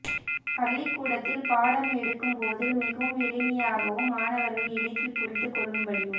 பள்ளிக்கூடத்தில் பாடம் எடுக்கும்போது மிகவும் எளிமையாகவும் மாணவர்கள் எளிதில் புறிந்து கொள்ளும்படியும்